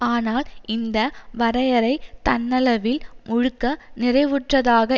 ஆனால் இந்த வரையறை தன்னளவில் முழுக்க நிறைவுற்றதாக